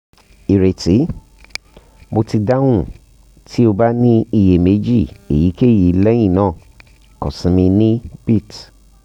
ireti mo ti dahun ti o ba ni iyemeji eyikeyi lẹhinna kan si mi ni bit